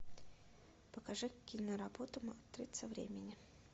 покажи киноработу матрица времени